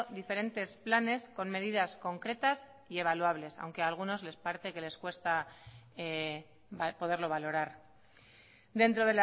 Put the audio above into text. diferentes planes con medidas concretas y evaluables aunque a algunos parece que les cuesta poderlo valorar dentro